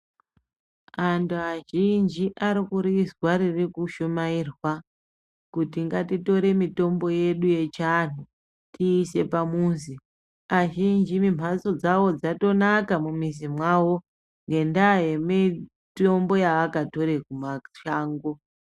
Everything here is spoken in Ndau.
Antu azhinji ari kurizwa ririku shumairwa kuti ngati tore mitombo yedu yechi anhu tiise pamuzi azhinji mi mbatso dzawo dzatonaka mu mizi mwawo ngenda ye mitombo yaaka tore ku mashango.